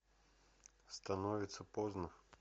становится поздно